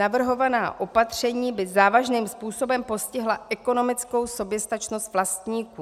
Navrhovaná opatření by závažným způsobem postihla ekonomickou soběstačnost vlastníků.